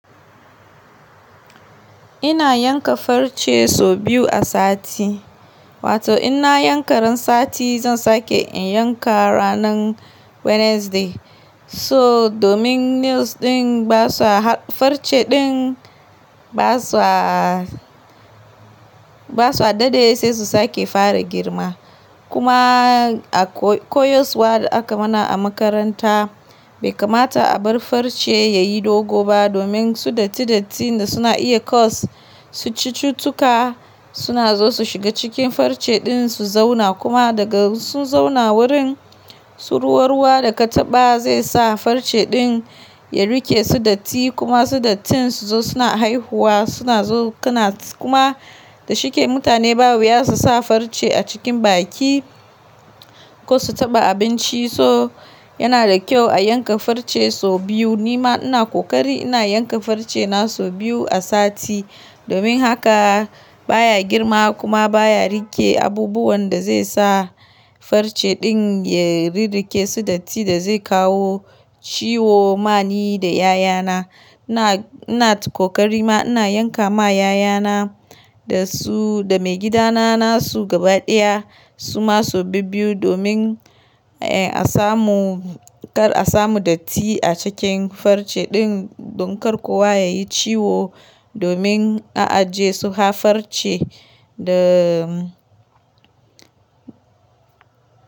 Ina yanka farce sau biyu a sati, wato ina yanka ran sati zan sake in yanka ranar Wednesday. So domin nails ɗin ba sa farce ɗin ba su a, ba su a dade sai su sake fara girma. Kuma a koyoswa da aka mana a makaranta bai kamata a bar farce yayi dogo ba domin su datti datti da suna iya cause. Su cututtuka suna so su shiga cikin farce ɗin su zauna kuma daga su zauna wurin, su ruwa ruwa da ka taɓa zai sa farce ɗin ya rike su datti kuma su dattinsu su zo suna haihuwa suna zo ƙuna kuma dashi kai mutane ba wiya su sa farce a cikin baki ko su taɓa abinci. So yana da kyau a yanka farce sau biyu. Nima ina kokari ina yanka farce na sau biyu a sati domin haka baya girma kuma baya rike abubuwan da zai sa farce ɗin ya rirrike su datti da zai kawo ciwo ma ni da yayana. Ina, ina kokari ma ina yanka ma yayana da su da maigidana nasu gaba ɗaya suma sau biyu domin a samu kar a samu datti a cikin farce ɗin don kar kuwa yayi ciwo domin a aje su ha farce da.